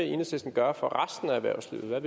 lidt er